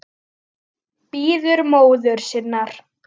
Bíður móður sinnar.